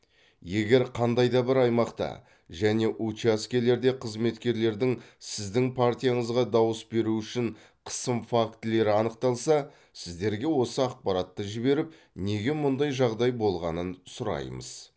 егер қандай да бір аймақта және учаскелерде қызметкерлердің сіздің партияңызға дауыс беру үшін қысым фактілері анықталса сіздерге осы ақпаратты жіберіп неге мұндай жағдай болғанын сұраймыз